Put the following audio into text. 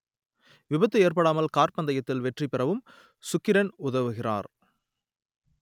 விபத்து ஏற்படாமல் கார் பந்தயத்தில் வெற்றி பெறவும் சுக்கிரன் உதவுகிறார்